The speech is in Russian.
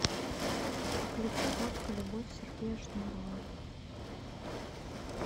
включи водка любовь сергея шнурова